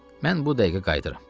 Mən bu dəqiqə qayıdıram.